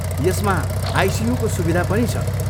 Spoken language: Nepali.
यसमा आइसियूको सुविधा पनि छ।